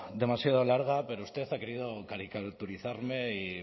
demasiado larga pero usted ha querido caricaturizarme y